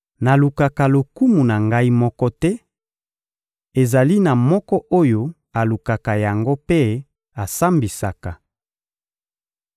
Nalukaka lokumu na Ngai moko te; ezali na Moko oyo alukaka yango mpe asambisaka.